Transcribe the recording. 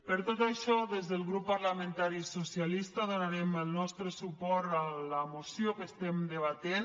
per tot això des del grup parlamentari socialista donarem el nostre suport a la moció que debatem